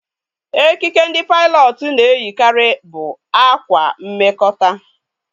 Ekike ndị pailọtụ na eyi karị bụ ákwá mmekota